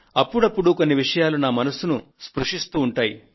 అప్పుడప్పుడు కొన్ని విషయాలు నా మనసును స్పర్శిస్తూ ఉంటాయి